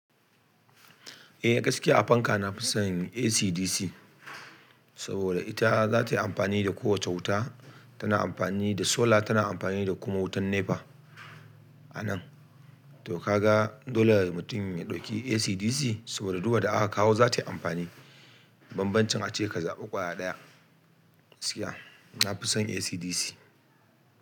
Eh, gaskiya a fanka na fi son AC/DC saboda ita zata yi amfani da ko wacce wuta. Tana amfani da sola, tana amfani da kuma wutan NEPA a nan. Toh ka ga dole mutum ya ɗauki AC/DC saboda duka wanda aka kawo za ta yi amfani. Banbancin ace ka zaɓi ƙwaya ɗaya. Gaskiya, na fi son AC/DC.